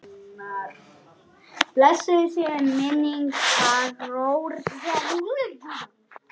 Blessuð sé minning Arnórs.